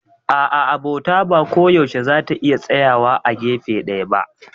A'a, Abota ba koyaushe za ta iya tsayawa a gefe ɗaya ba.